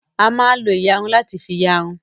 A máa lo ìyarun láti fi ìyarun.